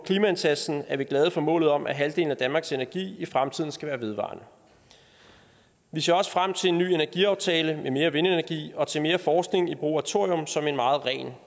klimaindsatsen er vi glade for målet om at halvdelen af danmarks energi i fremtiden skal være vedvarende vi ser også frem til en ny energiaftale med mere vindenergi og til mere forskning i brug af thorium som en meget ren